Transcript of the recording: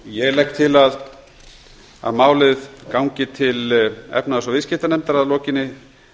ég legg til að málið gangi til háttvirtrar efnahags og viðskiptanefndar að lokinni